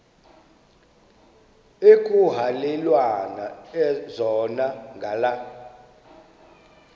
ekuhhalelwana zona ngala